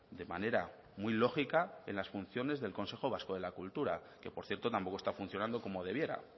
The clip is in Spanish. de manera muy lógica en las funciones del consejo vasco de la cultura que por cierto tampoco está funcionando como debiera